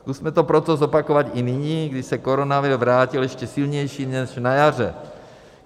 Zkusme to proto zopakovat i nyní, když se koronavir vrátil ještě silnější než na jaře.